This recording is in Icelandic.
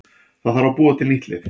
Það þarf að búa til nýtt lið.